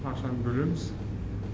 ақшаны бөлеміз